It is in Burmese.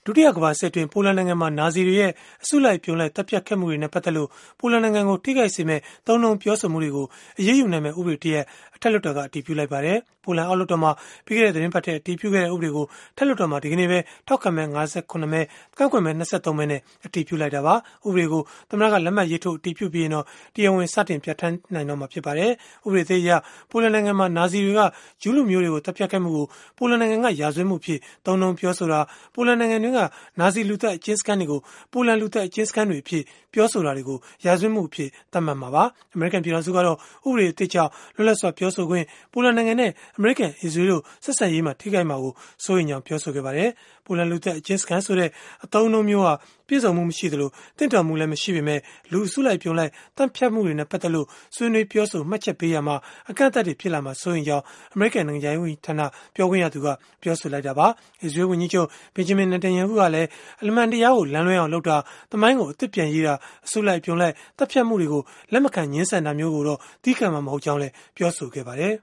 ုတိယကမ္ဘာစစ်အတွင်း ပိုလန်နိုင်ငံမှာ နာဇီတွေရဲ့ အစုလိုက်အပြုံလိုက် သတ်ဖြတ်ခဲ့မှုတွေနဲ့ ပတ်သက်လို့ ပိုလန်နိုင်ငံကို ထိခိုက်စေမယ့် သုံးနှုန်းပြောဆိုမှုတွေကို အရေးယူနိုင်မယ့် ဥပဒေတရပ်ကို အထက်လွှတ်တော်က အတည်ပြုလိုက်ပါတယ်။ ပိုလန်အောက်လွှတ်တော်မှာ ပြီးခဲ့တဲ့ သီတင်းပတ်ထဲ အတည်ပြုခဲ့တဲ့ ဥပဒေကို အထက်လွှတ်တော်မှာ ဒီကနေ့ပဲ ထောက်ခံမဲ ၅၇ မဲ ကန့်ကွက်မဲ ၂၃ မဲနဲ့ အတည်ပြလိုက်တာပါ။ ဥပဒေကို သမ္မ္မတက လက်မှတ်ရေးထိုး အတည်ပြုပြီးရင်တော့ တရားဝင်စတင်ကျင့်သုံးနိုင်တော့မှာ ဖြစ်ပါတယ်။ ဥပဒေသစ်အရ ပိုလန်နိုင်ငံမှာ နာဇီတွေက ဂျုးလူမျိုးတွေကို သတ်ဖြတ်ခဲ့မှုကို ပိုလန်နိုင်ငံက ရာဇဝတ်မှုအဖြစ် သုံးနှုန်းပြောဆိုတာ၊ ပိုလန်နိုင်ငံတွင်းက နာဇီလူသတ် အကျဉ်းစခန်းတွေကို ပိုလန်လူသတ်အကျဉ်းစခန်းတွေအဖြစ် ပြောဆိုတာတွေကို ရာဇဝတ်မှုအဖြစ် သတ်မှတ်မှာပါ။ အမေရိကန် ပြည်ထောင်စုကတော့ ဥပဒေသစ်ကြောင့် လွတ်လပ်စွာ ပြောဆိုခွင့်၊ ပိုလန်နိုင်ငံနဲ့ အမေရိကန်၊ အစ္စရေးလ်တို့ ဆက်ဆံရေး ထိခိုက်မှာ စိုးရိမ်ကြောင်း ပြောဆိုခဲ့ပါတယ်။ ပိုလန်လူသတ်အကျဉ်းစခန်း ဆိုတဲ့အသုံးအနှုန်းမျိုးဟာ ပြည့်စုံမှု မရှိသလို၊ သင့်တော်မှုလည်း မရှိပေမဲ့ လူအစုလိုက်အပြုံလိုက် သတ်ဖြတ်မှုတွေနဲ့ ပတ်သက်လို့ ဆွေးနွေးပြောဆို မှတ်ချက်ပေးရာမှာ အကန့်အသတ်တွေ ဖြစ်လာမှာကို စိုးရိမ်ရကြောင်း အမေရိကန် နိုင်ငံခြားရေး ဝန်ကြီးဌာန ပြောခွင့်ရသူ Heather Nauert က ပြောဆိုခဲ့တာပါ။ အစ္စရေးလ် ဝန်ကြီးချုပ် Benjamin Netanyahu ကလည်း အမှန်တရားကို လမ်းလွဲအောင်လုပ်တာ၊ သမိုင်းကိုအသစ်ပြန်ရေးတာ၊ အစုလိုက် အပြုံလိုက် သတ်ဖြတ်မှုတွေကို လက်မခံငြင်းဆန်တာမျိုးကိုတော့ သည်းခံမှာ မဟုတ်ကြောင်း ပြောဆိုခဲ့ပါတယ်